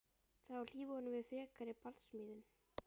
Það á að hlífa honum við frekari barsmíðum.